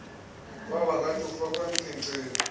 wabangathi ufakwe emkhenceni